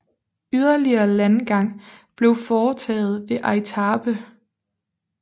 Yderligere landgang blev foretaget ved Aitape